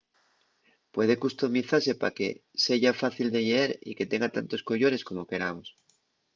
puede customizase pa que seya fácil de lleer y que tenga tantos collores como queramos